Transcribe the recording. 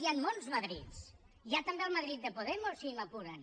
hi han molts madrids hi ha també el madrid de podemos si m’apuren